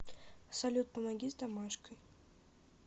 салют помоги с домашкой